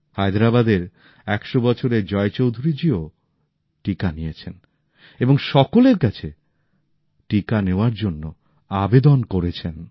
হায়দ্রাবাদের ১০০ বছরের জয় চৌধুরী জিও টিকা নিয়েছেন এবং সকলের কাছে টিকা নেওয়ার জন্য আবেদন করেছেন